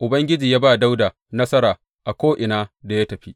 Ubangiji ya ba Dawuda nasara a ko’ina da ya tafi.